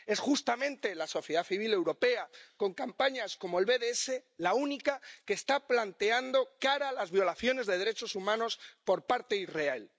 Es justamente la sociedad civil europea, con campañas como BDS, la única que está plantando cara a las violaciones de derechos humanos por parte de Israel.